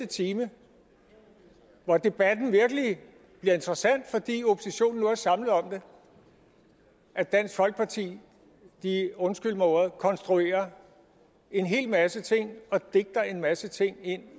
time hvor debatten virkelig bliver interessant fordi oppositionen nu er samlet om det at dansk folkeparti undskyld mig ordet konstruerer en hel masse ting og digter en masse ting ind